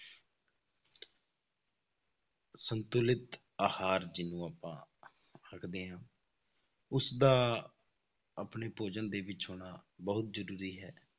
ਸੰਤੁਲਿਤ ਆਹਾਰ ਜਿਹਨੂੰ ਆਪਾਂ ਆਖਦੇ ਹਾਂ, ਉਸਦਾ ਆਪਣੇ ਭੋਜਨ ਦੇ ਵਿੱਚ ਹੋਣਾ ਬਹੁਤ ਜ਼ਰੂਰੀ ਹੈ।